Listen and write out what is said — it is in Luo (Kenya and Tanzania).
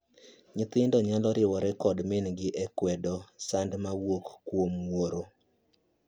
Nyithindo nyalo riwore kod mingi e kwedo sand ma wuok kuom wuoro.